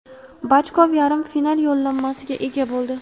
Bachkov yarim final yo‘llanmasiga ega bo‘ldi;.